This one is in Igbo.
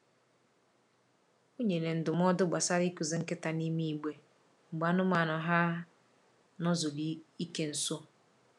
O nyere ndụmọdụ gbasara ịkụzi nkịta n’ime igbe mgbe anụmanụ ha n'zuru ike nso.